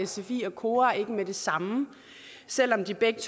sfi og kora ikke med det samme selv om de begge